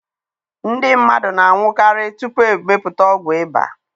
Ndị mmadụ na-anwụkarị tupu e mepụta ọgwụ ịba.